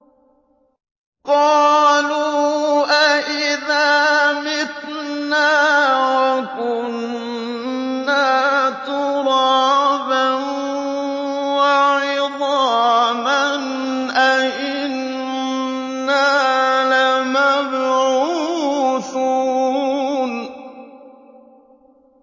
قَالُوا أَإِذَا مِتْنَا وَكُنَّا تُرَابًا وَعِظَامًا أَإِنَّا لَمَبْعُوثُونَ